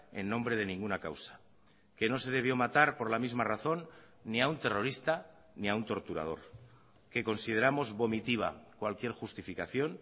en nombre de ninguna causa que no se debió matar por la misma razón ni a un terrorista ni a un torturador que consideramos vomitiva cualquier justificación